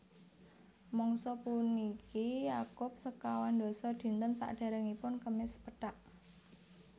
Mangsa puniki nyakup sekawandasa dinten sadèrèngipun Kemis Pethak